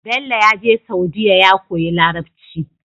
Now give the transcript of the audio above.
Bello yaje saudiya ya koyi larabci